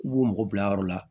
K'u b'u mɔgɔ bila yɔrɔ la